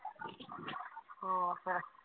ਹੋਰ ਫੇਰ